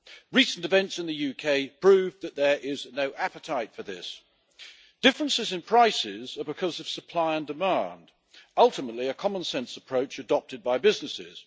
Recent events in the UK prove that there is no appetite for this. Differences in prices are because of supply and demand, ultimately a common sense approach adopted by businesses.